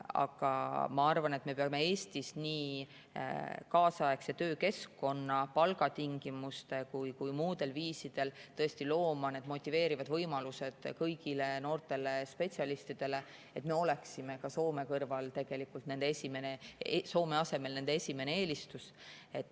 Aga ma arvan, et me peame Eestis nii kaasaegse töökeskkonna ja palgatingimuste kui ka muul viisil looma motiveerivad võimalused kõigile noortele spetsialistidele, et me oleksime Soome asemel nende esimene eelistus.